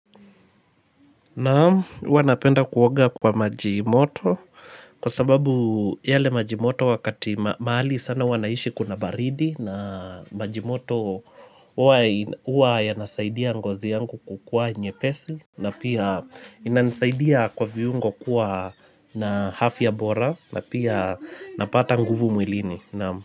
Naamu huwa napenda kuoga kwa majimoto kwa sababu yale majimoto wakati mahali sana huwa naishi kuna baridi na majimoto huwa ina huwa yanasaidia ngozi yangu kukua nyepesi na pia inasaidia kwa viungo kuwa na afya bora na pia napata nguvu mwilini naamu.